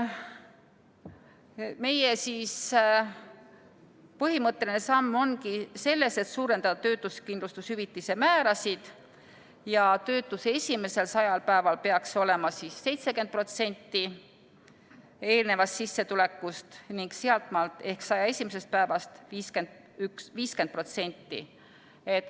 Meie põhimõtteline samm ongi selles, et suurendada töötuskindlustushüvitise määrasid ja töötuse esimesel 100-l päeval peaks see olema 70% eelnevast sissetulekust ning sealtmaalt ehk 101. päevast 50%.